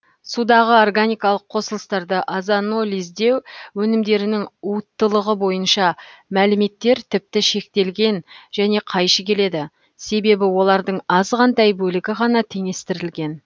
судағы органикалық қосылыстарды озонолиздеу өнімдерінің уыттылығы бойынша мәліметтер тіпті шектелген және қайшы келеді себебі олардың азғантай бөлігі ғана теңестірілген